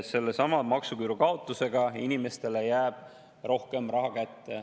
Sellesama maksuküüru kaotusega jääb inimestele rohkem raha kätte.